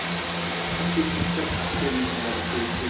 उसे शिक्षक अच्छे नहीं लगते थे